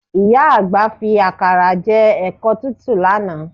Ìyá àgbà fi àkàrà jẹ ẹ̀kọ tútù lánàá